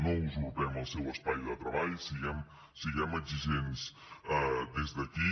no usurpem el seu espai de treball siguem exigents des d’aquí